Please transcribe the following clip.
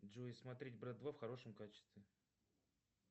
джой смотреть брат два в хорошем качестве